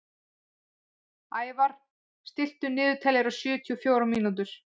Ævarr, stilltu niðurteljara á sjötíu og fjórar mínútur.